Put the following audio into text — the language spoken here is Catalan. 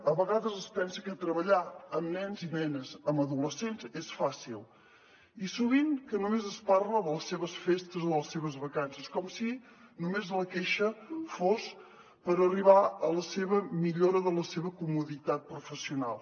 a vegades es pensa que treballar amb nens i nenes amb adolescents és fàcil i sovint només es parla de les seves festes o de les seves vacances com si només la queixa fos per arribar a la seva millora de la seva comoditat professional